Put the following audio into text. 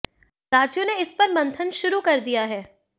राज्यों ने इस पर मंथन शुरू कर दिया है